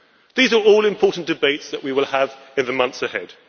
These are all important debates that we will have in the months ahead.